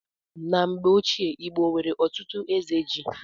Na mgbe ochie, Igbo nwere ọtụtụ eze ji